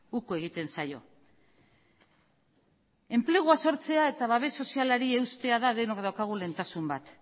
uko egiten zaio enplegua sortzea eta babes sozialari eustea da denok daukagun lehentasun bat